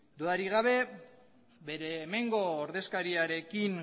dudarik gabe bere hemengo ordezkariarekin